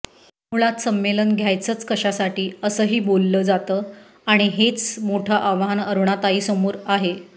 मुळात संमेलन घ्यायचंच कशासाठी असंही बोललं जातं आणि हेच मोठं आव्हान अरुणाताईंसमोर आहे